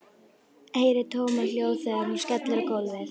Heyri tómahljóð þegar hún skellur á gólfinu.